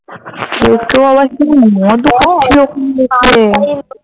সে তো আবার কি মদ